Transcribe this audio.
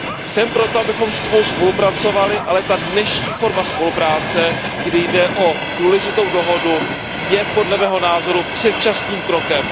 Jsem pro to, abychom s Kubou spolupracovali, ale ta dnešní forma spolupráce, kdy jde o důležitou dohodu, je podle mého názoru předčasným krokem.